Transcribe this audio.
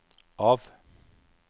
av